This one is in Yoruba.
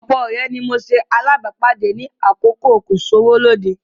Ọ̀pọ̀ ọ̀rẹ́ ni mo ṣe alábàápàdé ní àkókò kò-sówó-lóde